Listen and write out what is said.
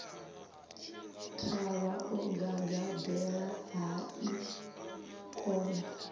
thavha o gagaḓela hai khona